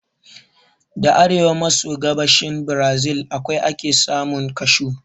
Da a arewa maso gabashin Brazil kawai ake samun Kashu